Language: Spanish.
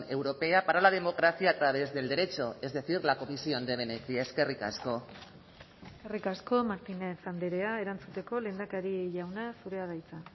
europea para la democracia a través del derecho es decir la comisión de venecia eskerrik asko eskerrik asko martínez andrea erantzuteko lehendakari jauna zurea da hitza